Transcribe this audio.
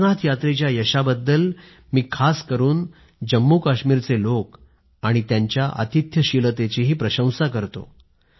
अमरनाथ यात्रेच्या यशाबद्दल मी खास करून जम्मू काश्मीरचे लोक आणि त्यांच्या आतिथ्यशीलतेचीही प्रशंसा करतो